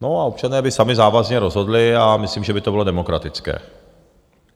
No a občané by sami závazně rozhodli a myslím, že by to bylo demokratické.